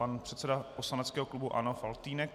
Pan předseda poslaneckého klubu ANO Faltýnek.